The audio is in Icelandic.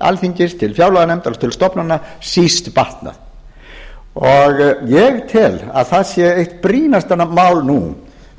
alþingis til fjárlaganefndar og til stofnana síst batnað ég tel að það sé eitt brýnasta mál nú